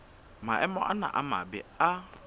maemo ana a mabe a